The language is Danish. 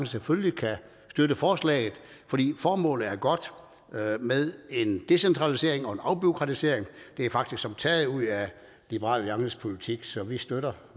selvfølgelig kan støtte forslaget fordi formålet er godt med en decentralisering og en afbureaukratisering det er faktisk som taget ud af liberal alliances politik så vi støtter